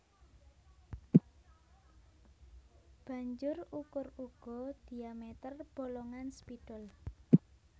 Banjur ukur uga diameter bolongan spidol